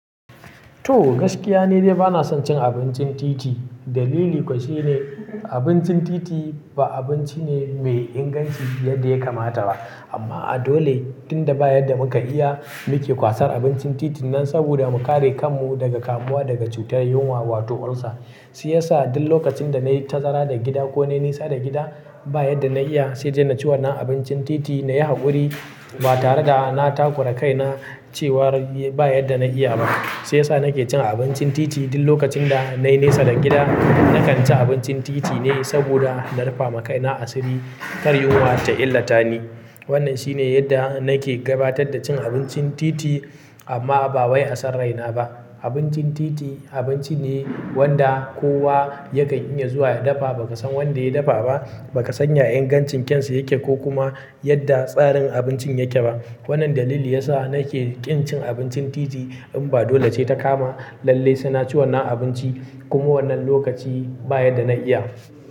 To gaskiya ne dai bana son cin abincin titi. Dalili kuwa shine abincin titi ba abinci ne mai inganci yadda ya kamata ba. Amma a dole tunda ba yadda muka iya muke kwasar abincin titin nan saboda mu kare kanmu daga kamuwa daga cutar yunwa wato ulcer. Shi yasa duk lokacin da na yi tazara da gida ko na nesa da gida ba yadda na iya sai na ci wannan abincin titi na yi hakuri ba tare da na takura kaina cewa ba yadda na iya ba. Shi yasa nake cin abincin titi duk lokacin da na nesa da gida, na kan ci abincin titi ne saboda na rufe ma kaina asiri, kar yunwa ta illata ni. Wannan shine yadda nake gabatar da cin abincin titi amma ba wai a sarraina ba. Abincin titi abinci ne wanda kowa yakan iya zuwa ya dafa ba ka san wanda ya dafa ba, ba ka san ya ingancin kyan sa yake ko kuma yadda tsarin abincin yake ba. Wannan dalili yasa nake ƙin cin abincin titi. In ba dole ce ta kama lallai sai na ci wannan abinci kuma wannan lokaci ba yadda na iya.